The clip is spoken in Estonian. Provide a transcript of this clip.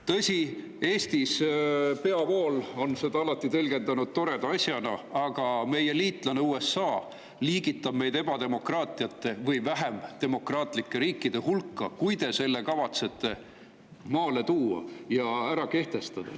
Tõsi, Eestis on peavool seda alati tõlgendanud toreda asjana, aga meie liitlane USA liigitab meid ebademokraatlike või vähem demokraatlike riikide hulka, kui te kavatsete selle ja kehtestada.